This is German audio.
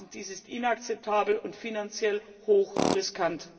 Dies ist inakzeptabel und finanziell hoch riskant!